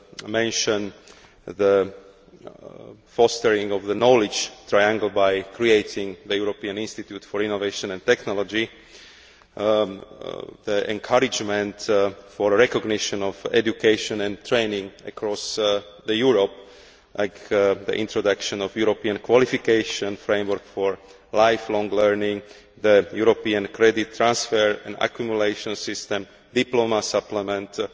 mention the fostering of the knowledge triangle by creating the European Institute for Innovation and Technology, encouragement for recognition of education and training across Europe, the introduction of the European qualification framework for lifelong learning, the European credit transfer and accumulation system, diploma supplements and